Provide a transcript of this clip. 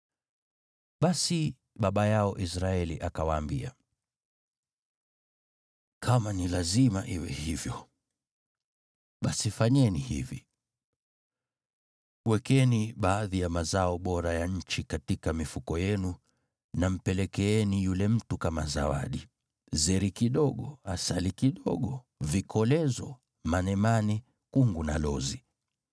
Basi baba yao Israeli akawaambia, “Kama ni lazima iwe hivyo, basi fanyeni hivi: Wekeni baadhi ya mazao bora ya nchi katika mifuko yenu na mpelekeeni yule mtu kama zawadi, zeri kidogo, asali kidogo, vikolezo, manemane, kungu na lozi.